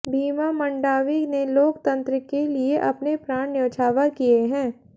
भीमा मंडावी ने लोक तंत्र के लिए अपने प्राण न्यौछावर किये हैं